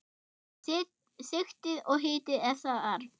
Sigtið og hitið ef þarf.